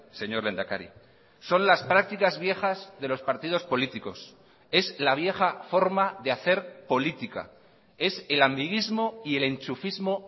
señor lehendakari son las prácticas viejas de los partidos políticos es la vieja forma de hacer política es el amiguismo y el enchufismo